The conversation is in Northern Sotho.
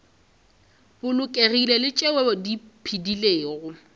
bolokegilego le tšeo di phedilego